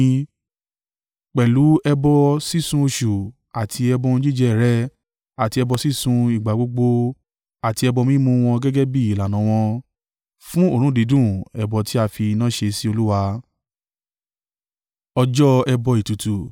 Pẹ̀lú ẹbọ sísun oṣù àti ẹbọ ohun jíjẹ rẹ̀ àti ẹbọ sísun ìgbà gbogbo àti ẹbọ mímu wọn gẹ́gẹ́ bí ìlànà wọn. Fún òórùn dídùn, ẹbọ tí a fi iná ṣe sí Olúwa.